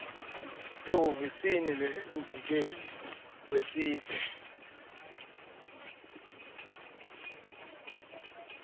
ehhovisi lemvikeli wesive